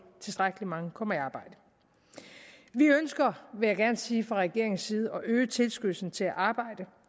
tilstrækkelig mange kommer i arbejde vi ønsker vil jeg gerne sige fra regeringens side at øge tilskyndelsen til at arbejde